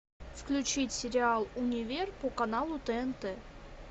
включить сериал универ по каналу тнт